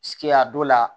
Ki a dɔ la